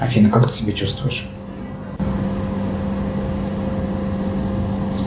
афина как ты себя чувствуешь